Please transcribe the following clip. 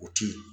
O ti ye